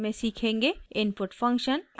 * input function